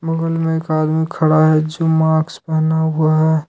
बगल में एक आदमी खड़ा है जो माक्स पहना हुआ है।